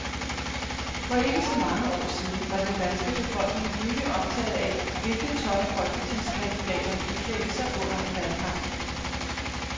For ikke så mange år siden var den danske befolkning livligt optaget af, hvilket tøj folketingskandidaterne iklædte sig under en valgkamp.